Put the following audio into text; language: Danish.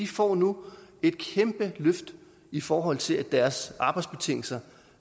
får nu et kæmpe løft i forhold til at deres arbejdsbetingelser